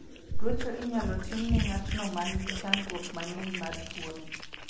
Ruecho inyalo tim ne ng'atno man gi chandruok mang'eny mar tuoni.